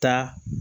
Taa